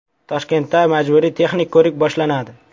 Toshkentda majburiy texnik ko‘rik boshlanadi .